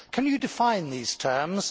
Can you define these terms?